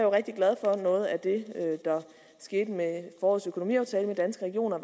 rigtig glad for noget af det der skete med forårets økonomiaftale med danske regioner